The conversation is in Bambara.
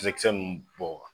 Kisɛ kisɛ ninnu bɔ wa?